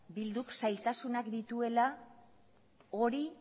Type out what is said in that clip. bilduk zailtasunak dituela hori